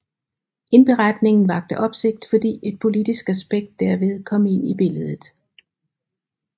Indberetningen vakte opsigt fordi et politisk aspekt derved kom ind i billedet